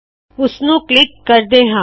ਇਸਨੂ click ਕਰਦੇ ਹਾ